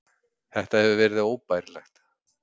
Þetta hefur verið óbærilegt.